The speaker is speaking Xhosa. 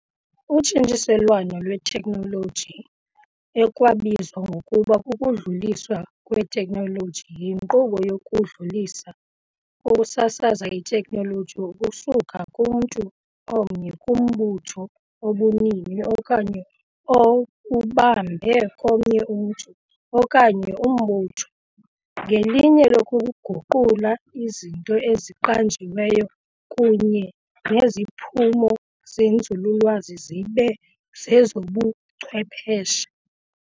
Utshintshiselwano lwethekhinoloji , ekwabizwa ngokuba kukudluliswa kwethekhinoloji , yinkqubo yokudlulisa ukusasaza ithekhinoloji ukusuka kumntu omnye kumbutho obunini okanye obubambe komnye umntu okanye umbutho, ngelinge lokuguqula izinto eziqanjiweyo kunye neziphumo zenzululwazi zibe zezobuchwephesha.